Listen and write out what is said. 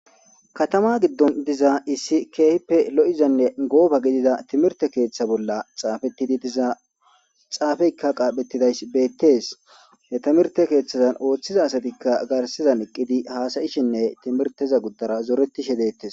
Katama giddon diza issi keehippe lo'izanne gooba gidida timirte keeththa bolla xaafetidi diza xaafeykka qaaphetidays beettees he timirte keeththazan ooththiza asatikka garsizan eqqidi haasayishinne timirteza guddara zoretishe deettes.